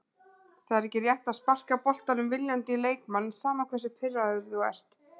Það er ekki rétt að sparka boltanum viljandi í leikmann, sama hversu pirraður þú ert.